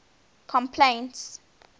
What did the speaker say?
complaints